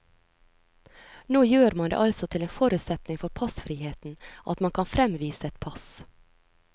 Nå gjør man det altså til en forutsetning for passfriheten at man kan fremvise et pass.